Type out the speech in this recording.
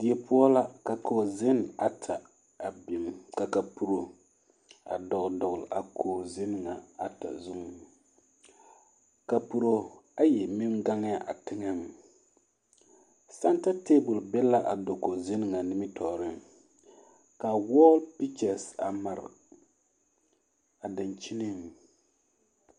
Die poɔ la ka kogizenne ata a biŋ ka kapuro a dɔgele dɔgele a kogi zenɛ na zu kapuro ayi meŋ gaŋɛɛ a teŋɛŋ sɛnta tabol biŋ la dakogi nimitɔɔreŋ ka wɔɔ pikyɛse a mare a daŋkyinniŋ.